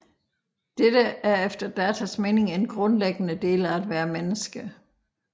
Dette er efter Datas mening en grundlæggende del af at være menneske